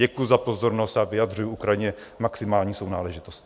Děkuji za pozornost a vyjadřuji Ukrajině maximální sounáležitost.